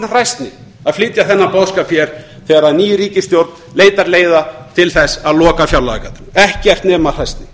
hræsni að flytja þennan boðskap hér þegar þegar ný ríkisstjórn leitar leiða til að loka fjárlagagatinu ekkert nema hræsni